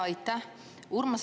Aitäh!